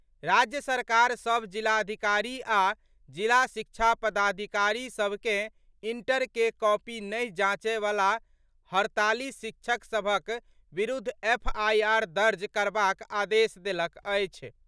राज्य सरकार सभ जिलाधिकारी आ जिला शिक्षा पदाधिकारी सभ के इंटर के कॉपी नहि जांचए वला हड़ताली शिक्षक सभक विरूद्ध एफआईआर दर्ज करबाक आदेश देलक अछि।